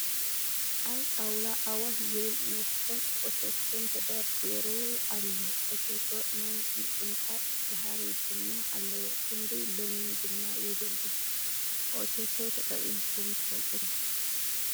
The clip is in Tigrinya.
ኣብ ጣውላ ኣዋሽ ዝብል መስተን ኦቾቶን ተደርዲሩ ኣሎ ። ኦቾቶ ናይ ምቁንጣጥ ባህሪ ድማ ኣለዎ ክንዲ ለሚን ድማ የግልግል ። ኦቾቶ ተጠቂምኩም ትፈልጡ ዶ ?